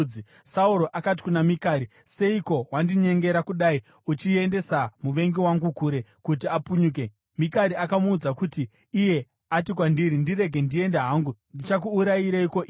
Sauro akati kuna Mikari, “Seiko wakandinyengera kudai uchiendesa muvengi wangu kure kuti apunyuke?” Mikari akamuudza kuti, “Iye ati kwandiri, ‘Ndirege ndiende hangu. Ndichakuurayireiko iwe?’ ”